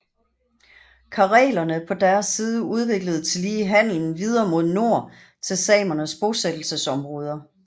Karelerne på deres side udviklede tillige handelen videre mod nord til samernes bosættelsesområder